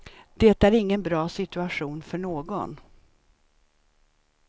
Det är ingen bra situation för någon.